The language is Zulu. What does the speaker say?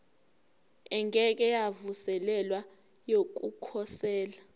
engeke yavuselelwa yokukhosela